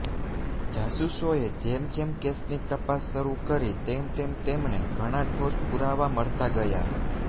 જાસૂસોએ જેમ જેમ કેસની તપાસ શરૂ કરી તેમ તેમ તેમને ઘણા ઠોસ પુરાવા મળતા ગયા